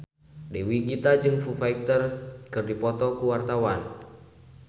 Dewi Gita jeung Foo Fighter keur dipoto ku wartawan